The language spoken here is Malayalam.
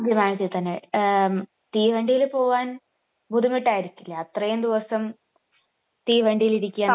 വിമാനത്തിൽ തന്നെ. എഹ് തീവണ്ടിയിൽ പോവാൻ ബുദ്ധിമുട്ടായിരിക്കില്ലെ അത്രയും ദിവസം തീവണ്ടിയിലിരിക്കാ